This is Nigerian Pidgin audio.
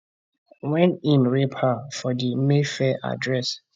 wen im rape her for di mayfair address